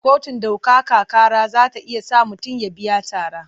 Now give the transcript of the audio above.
Kotun ɗaukaka ƙara za ta iya sa mutum ya biya tara.